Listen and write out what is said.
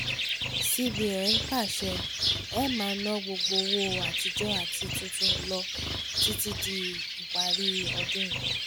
cbn pàṣẹ e máa ná gbogbo owó àtijọ́ àti tuntun lọ títí díparí ọdún yìí